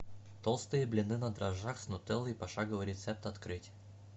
толстые блины на дрожжах с нутеллой пошаговый рецепт открыть